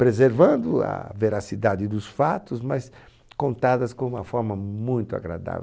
preservando a veracidade dos fatos, mas contadas com uma forma muito agradável.